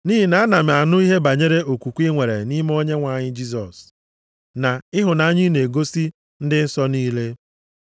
Nʼihi na ana m anụ ihe banyere okwukwe i nwere nʼime Onyenwe anyị Jisọs, na ịhụnanya i na-egosi ndị nsọ niile.